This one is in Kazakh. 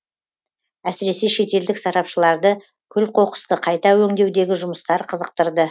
әсіресе шетелдік сарапшыларды күл қоқысты қайта өңдеудегі жұмыстар қызықтырды